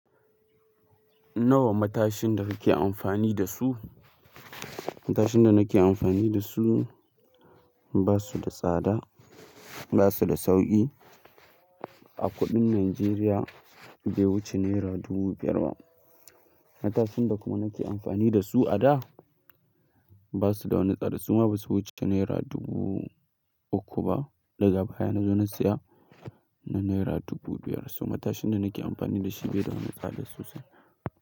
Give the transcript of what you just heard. Nawa matashin da kake amfani da su? Matashin da nake amfani da su ba su da tsada, ba su da sauƙi. A kuɗin Najeriya bai wuce naira dubu biyar ba. Matashin da kuma nake amfani da su a da ba su da wani tsada, su ma ba su wuce naira dubu uku ba. Daga baya na zo na saya na naira dubu biyar. So matashin da nake amfani da shi bai da wani tsada sosai.